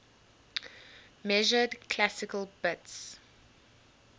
measured classical bits